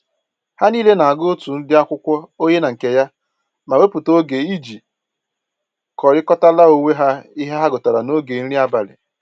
Ha niile na-agụ otu ụdị akwụkwọ onye na nke ya, ma wepụta oge iji kọrịkọtara onwe ha ihe ha gụtara n'oge nri abalị